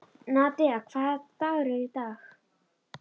Nadia, hvaða dagur er í dag?